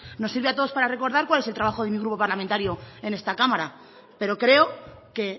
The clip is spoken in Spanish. nos sirve a todos para recordar cuál es el trabajo de mi grupo parlamentario en esta cámara pero creo que